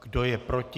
Kdo je proti?